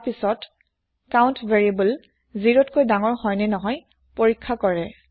তাৰ পাছত count variable ০তকৈ ডাঙৰ হয়নে নাই পৰীক্ষা কৰে